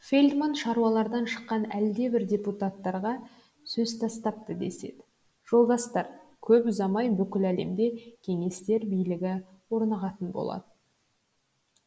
фельдман шаруалардан шыққан әлдебір депутаттарға сөз тастапты деседі жолдастар көп ұзамай бүкіл әлемде кеңестер билігі орнығатын болады